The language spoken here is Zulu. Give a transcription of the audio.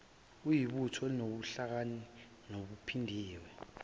uyibutho elinobuhlakani obuphindiwe